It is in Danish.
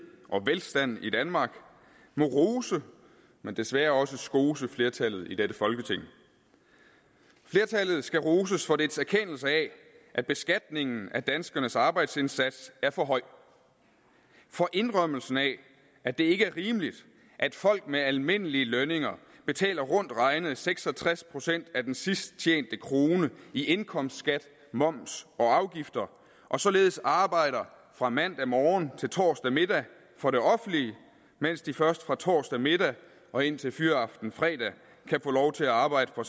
og velstand i danmark må rose men desværre også skose flertallet i dette folketing flertallet skal roses for dets erkendelse af at beskatningen af danskernes arbejdsindsats er for høj og for indrømmelsen af at det ikke er rimeligt at folk med almindelige lønninger betaler rundt regnet seks og tres procent af den sidst tjente krone i indkomstskat moms og afgifter og således arbejder fra mandag morgen til torsdag middag for det offentlige mens de først fra torsdag middag og indtil fyraften fredag kan få lov til at arbejde for